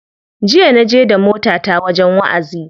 Jiya na je da motata wajen wa'azi.